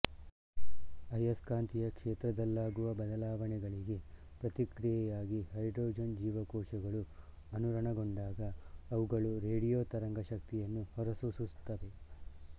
ಅಯಸ್ಕಾಂತೀಯ ಕ್ಷೇತ್ರದಲ್ಲಾಗುವ ಬದಲಾವಣೆಗಳಿಗೆ ಪ್ರತಿಕ್ರಿಯೆಯಾಗಿ ಹೈಡ್ರೋಜನ್ ಜೀವಕೋಶಗಳು ಅನುರಣನಗೊಂಡಾಗ ಅವುಗಳು ರೇಡಿಯೋ ತರಂಗ ಶಕ್ತಿಯನ್ನು ಹೊರಸೂಸುತ್ತವೆ